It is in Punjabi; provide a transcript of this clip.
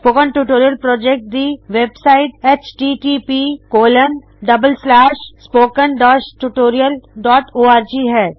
ਸਪੋਕਨ ਟਿਊਟੋਰਿਯਲ ਪ੍ਰੌਜੈਕਟ ਦੀ ਵੇਬਸਾਇਟ httpspoken tutorialorg ਹੈ